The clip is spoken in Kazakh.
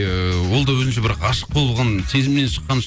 ыыы ол да өзінше бір ғашық болған сезімнен шыққан